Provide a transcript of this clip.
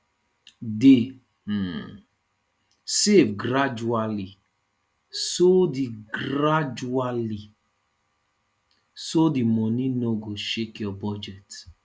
dey um save gradually so the gradually so the money no go shake your budget